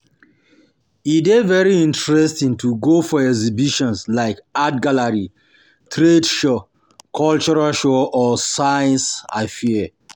E de very interesting to go for exhibitions like art gallery, trade show, cultural show or science fair